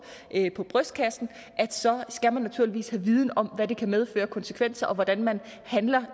på brystkassen skal man naturligvis have en viden om hvad det kan medføre af konsekvenser og hvordan man handler